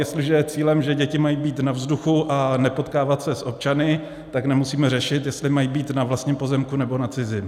Jestliže je cílem, že děti mají být na vzduchu a nepotkávat se s občany, tak nemusíme řešit, jestli mají být na vlastním pozemku, nebo na cizím.